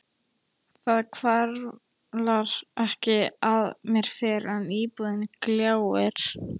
Það hvarflar ekki að mér fyrr en íbúðin gljáir.